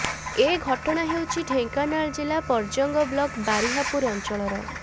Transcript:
ଏ ଘଟଣା ହେଉଛି ଢେଙ୍କାନାଳ ଜିଲ୍ଲା ପର୍ଜଙ୍ଗ ବ୍ଲକ୍ ବାରିହାପୁର ଅଞ୍ଚଳର